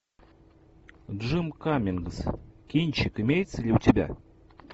джим каммингс кинчик имеется ли у тебя